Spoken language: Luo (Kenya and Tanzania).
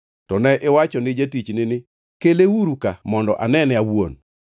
“To ne iwacho ni jotichni ni, ‘Keleuru ka mondo anene an awuon.’